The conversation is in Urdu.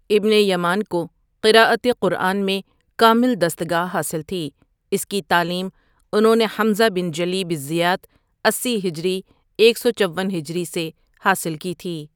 ابن یمان کو قرأت قرآن میں کامل دستگاہ حاصل تھی، اس کی تعلیم انہوں نے حمزہ بن جلیب الزیات اسی ہجری ،ایک سو چون ہجری سے حاصل کی تھی ۔